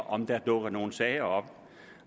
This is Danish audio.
om der dukker nogle sager op